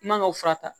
I man ka fura ta